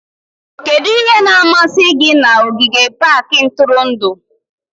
Kedu ihe na-amasị gị na ogige pak ntụrụndụ?